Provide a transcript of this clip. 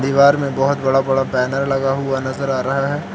दीवार में बहुत बड़ा बड़ा बैनर लगा हुआ नजर आ रहा है।